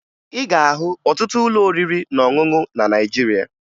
Ị ga-ahụ ọtụtụ ụlọ oriri na ọṅụṅụ na Naịjirịa